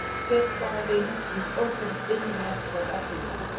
safeguarding the open Internet for everyone.